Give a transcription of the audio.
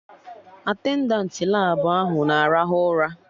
Atendantị Labụ ahụ na-arahụ ụra